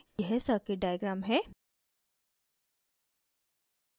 यह circuit diagram है